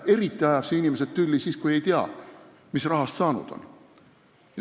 Eriti ajab see inimesed tülli siis, kui ei teata, mis rahast saanud on.